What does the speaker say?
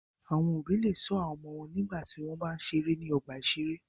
Àwọn òbí le ṣọ́ àwọn ọmọ wọn nígbà tí wọ́n bá ń ṣeré ní ọgbà-ìṣeré.